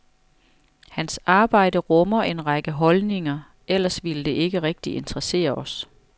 Hans arbejde rummer en række holdninger, ellers ville det ikke rigtig interessere os.